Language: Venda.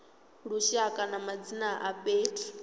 lushaka ya madzina a fhethu